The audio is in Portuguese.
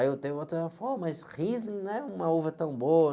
Aí eu tenho outro, mas ela falou, ó, mas Riesling não é uma uva tão boa.